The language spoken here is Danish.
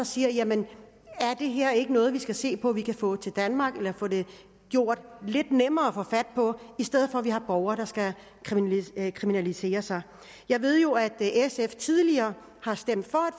sige jamen er det her ikke noget vi skal se på om vi kan få til danmark eller få gjort lidt nemmere at fat på i stedet for at vi har borgere der skal kriminalisere sig jeg ved jo at sf tidligere har stemt for